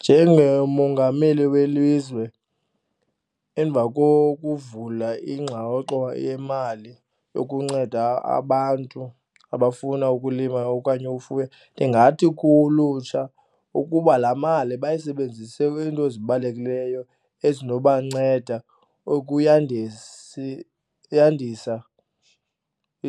Njengomongameli welizwe emva kokuvula yemali yokunceda abantu abafuna ukulima okanye ufuya, ndingathi kulutsha ukuba laa mali bayisebenzise kwiinto ezibalulekileyo ezinobanceda yandisa